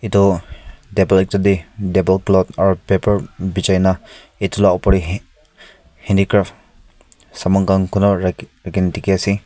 toh table ekta tae table cloth aro paper bijai na edu la opor tae handicraft saman khan kunwa raki rakhina dikhiase.